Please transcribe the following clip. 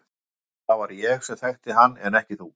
Gáðu að því að það var ég sem þekkti hann en ekki þú.